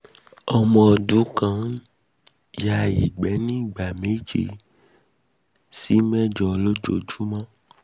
omo odun kan ya ige nigba meje si mejo lojojumo